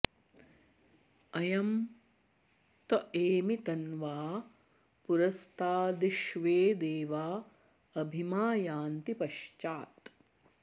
अ॒यं त॑ एमि त॒न्वा॑ पु॒रस्ता॒द्विश्वे॑ दे॒वा अ॒भि मा॑ यन्ति प॒श्चात्